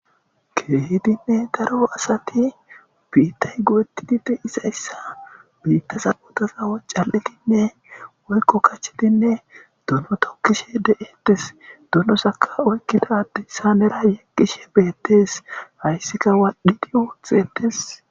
Keehidinne daro asati biittay goetididi isayssa biittasabodazawo cal7etinne woykko kachetinne duno tokkishe de7etes dunosaka oykkitade isanera yaqqishe beettees hayssika waadhidi woothxetes.